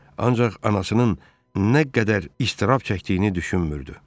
Ancaq anasının nə qədər iztirab çəkdiyini düşünmürdü.